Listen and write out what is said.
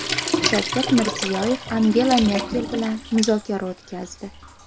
Shavkat Mirziyoyev Angela Merkel bilan muzokara o‘tkazdi .